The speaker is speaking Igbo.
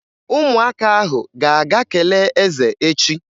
Ụmụaka ahụ ga-aga kelee eze echi.